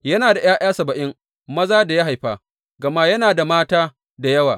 Yana da ’ya’ya saba’in maza da ya haifa, gama yana da mata da yawa.